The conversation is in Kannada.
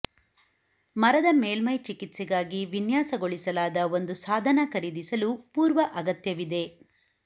ಮರದ ಮೇಲ್ಮೈ ಚಿಕಿತ್ಸೆಗಾಗಿ ವಿನ್ಯಾಸಗೊಳಿಸಲಾದ ಒಂದು ಸಾಧನ ಖರೀದಿಸಲು ಪೂರ್ವ ಅಗತ್ಯವಿದೆ